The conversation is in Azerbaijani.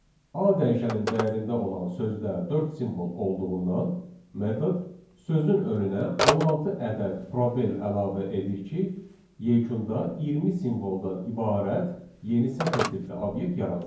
A dəyişənin dəyərində olan sözdə dörd simvol olduğundan metod sözün önünə 16 ədəd probel əlavə edir ki, yekunda 20 simvoldan ibarət yeni sətir tipli obyekt yaransın.